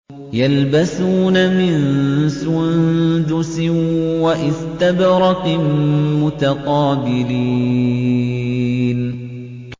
يَلْبَسُونَ مِن سُندُسٍ وَإِسْتَبْرَقٍ مُّتَقَابِلِينَ